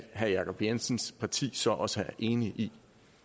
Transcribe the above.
herre jacob jensens parti så også er enig